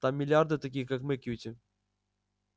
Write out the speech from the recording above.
там миллиарды таких как мы кьюти